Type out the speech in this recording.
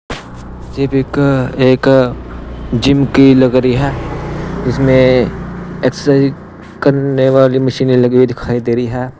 ये पिक अ एक अ जिम की लग रही है इसमें एक्सरसाइज कन्ने वाली मशीने लगी हुई दिखाई दे रही है।